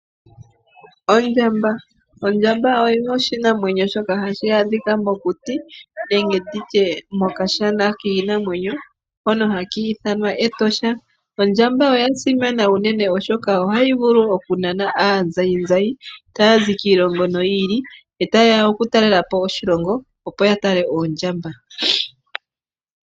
Ondjamba, ondjamba oyo oshinamwenyo shono hashi adhika mokuti nenge nditye mokashana kiinamwenyo hono haka ithanwa Etosha. Ondjamba oya simana unene oshoka ohayi vulu oku nana aazayizayi taya zi kiilongo yi ili noyi ili yota yeya oku talelapo oshilongo opo ya tale Oondjamba.